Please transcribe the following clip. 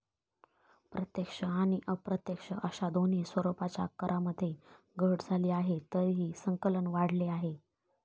प्रत्यक्ष आणि अप्रत्यक्ष अशा दोन्ही स्वरुपाच्या करामध्ये घट झाली आहे, तरीही संकलन वाढले आहे.